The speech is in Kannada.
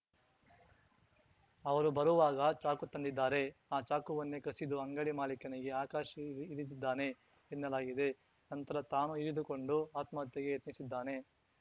ಅವರು ಬರುವಾಗ ಚಾಕು ತಂದಿದ್ದಾರೆ ಆ ಚಾಕುವನ್ನೇ ಕಸಿದು ಅಂಗಡಿ ಮಾಲಿಕನಿಗೆ ಆಕಾಶ್‌ ಇರಿ ಇರಿದಿದ್ದಾನೆ ಎನ್ನಲಾಗಿದೆ ನಂತರ ತಾನೂ ಇರಿದುಕೊಂಡು ಆತ್ಮಹತ್ಯೆಗೆ ಯತ್ನಿಸಿದ್ದಾನೆ